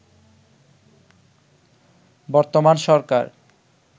বর্তমান সরকার